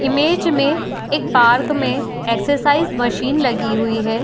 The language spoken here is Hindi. इमेज में एक पार्क में एक्सरसाइज मशीन लगी हुई है।